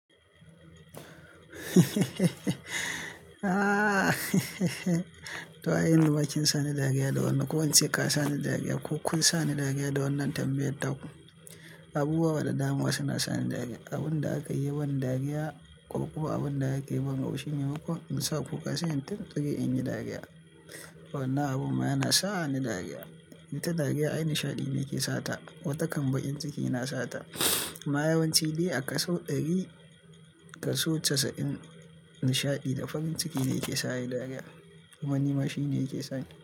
To ai yanzu ma kin sani dariya da wannan, ko ince ka sani dariya ko kun sani dariya da wannan tambayar taku. Abubuwa da dama suna sani dariya. Abun da aka yi ya ban dariya ko kuma abun da akayi ya ban haushi maimakon in sa kuka sai ta ƙoƙari in yi dariya. Wannan abun ma yana sani dariya. Wata dariya, ai nishaɗi ne ke sata, watakan baƙin ciki na sata. Ma yawanci dai a kaso ɗari, kaso casa'in nishaɗi da farin ciki ne ke sa ayi dariya. Wani ma shi ne yake sani.